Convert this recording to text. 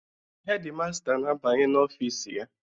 Hedi masta na-abanye n'ofiisi ya.